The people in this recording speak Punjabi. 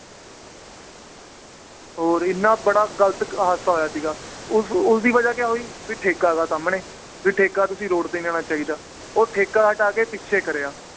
ਹੋਰ ਇੰਨਾ ਬੜਾ ਗਲਤ ਹਾਦਸਾ ਹੋਇਆ ਸੀਗਾ ਉਸ ਉਸ ਦੀ ਵਜ੍ਹਾ ਕਿਆ ਹੋਈ ਵੀ ਠੇਕਾ ਵਾ ਸਾਮਣੇ ਵੀ ਠੇਕਾ ਤੁਸੀਂ road ਤੇ ਨੀ ਲੈਣਾ ਚਾਹੀਦਾ ਉਹ ਠੇਕਾ ਹਟਾ ਕੇ ਪਿੱਛੇ ਕਰਿਆ